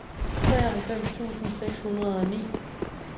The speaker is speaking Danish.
treoghalvfems tusind seks hundrede og ni